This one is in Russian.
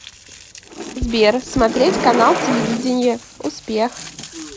сбер смотреть канал телевидения успех